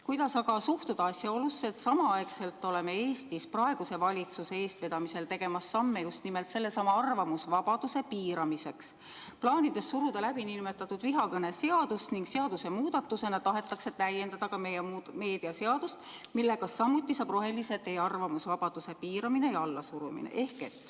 Kuidas aga suhtuda asjaolusse, et samaaegselt oleme Eestis praeguse valitsuse eestvedamisel tegemas samme just nimelt sellesama arvamusvabaduse piiramiseks, plaanides suruda läbi nn vihakõneseadust, ning seadusemuudatusega tahetakse täiendada ka meedia seadust, millega samuti saab rohelise tee arvamusvabaduse piiramine ja allasurumine.